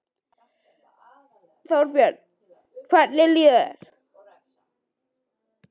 Þorbjörn: Hvernig líður þér?